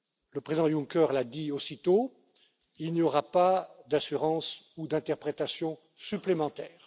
Le président Juncker l'a dit aussitôt il n'y aura pas d'assurances ni d'interprétations supplémentaires.